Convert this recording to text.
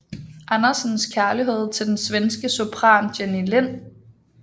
Andersens kærlighed til den svenske sopran Jenny Lind